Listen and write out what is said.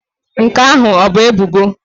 Nke ahụ ọ bụ ebubo?